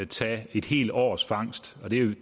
tage et helt års fangst